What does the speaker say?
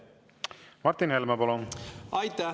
Martin Helme, palun!